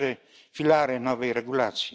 cztery filary nowej regulacji.